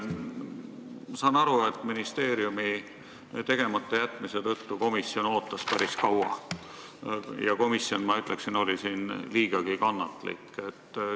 Ma saan aru, et ministeeriumi tegemata jätmise tõttu ootas komisjon päris kaua ja komisjon, ma ütleksin, oli siin liigagi kannatlik.